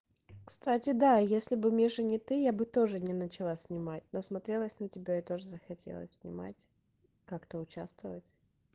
кстати да если бы миша не ты я бы тоже не начала снимать насмотрелась на тебя и тоже захотелось снимать как-то участвовать